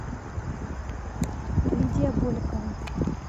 лидия боликова